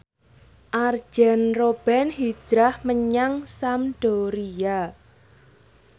Arjen Robben hijrah menyang Sampdoria